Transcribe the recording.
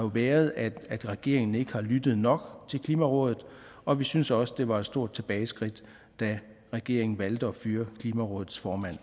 været at regeringen ikke har lyttet nok til klimarådet og vi synes også det var et stort tilbageskridt da regeringen valgte at fyre klimarådets formand